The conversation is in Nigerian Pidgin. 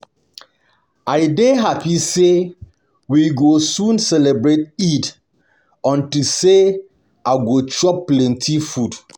I dey happy say we go soon celebrate Eid unto say I go chop plenty food um